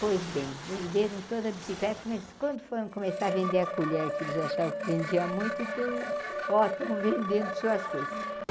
Pois bem, venderam toda a bicicleta, mas quando foram começar a vender a colher, que eles achavam que vendia muito, é que eu... ó, estão vendendo suas coisas.